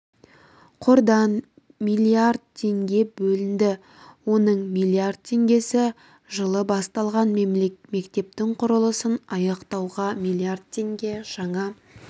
қордан миллиард теңге бөлінді оның миллиард теңгесі жылы басталған мектептің құрылысын аяқтауға миллиард теңге жаңа